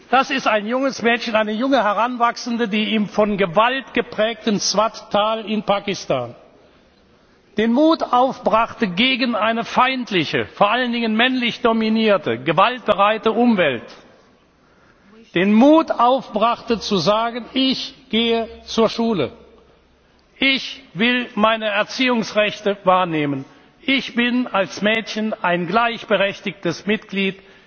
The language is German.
Das ist ein junges Mädchen, eine junge Heranwachsende, die im von Gewalt geprägten Swat Tal in Pakistan den Mut aufbrachte, trotz einer feindlichen, vor allen Dingen männlich dominierten, gewaltbereiten Umwelt zu sagen Ich gehe zur Schule! Ich will meine Erziehungsrechte wahrnehmen! Ich bin als Mädchen ein gleichberechtigtes Mitglied